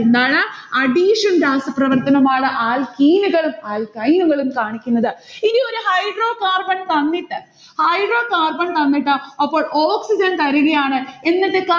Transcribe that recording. എന്താണ്? addition രാസപ്രവർത്തനം ആണ് alkene കളും alkyne കളും കാണിക്കുന്നത്. ഇനി ഒരു hydrocarbon തന്നിട്ട് hydrocarbon തന്നിട്ട് അപ്പോൾ oxygen തരികയാണ് എന്നിട്ട്